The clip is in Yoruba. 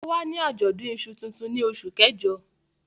Ó wà ní àjọ̀dún iṣu tuntun ní oṣù kẹjọ.